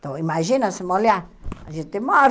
Então, imagina se molhar, a gente morre.